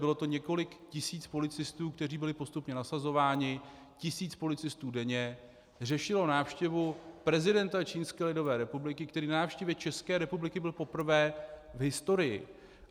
Bylo to několik tisíc policistů, kteří byli postupně nasazováni, tisíc policistů denně řešilo návštěvu prezidenta Čínské lidové republiky, který na návštěvě České republiky byl poprvé v historii.